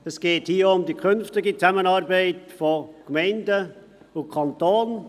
Es geht hier auch um die künftige Zusammenarbeit zwischen den Gemeinden und dem Kanton.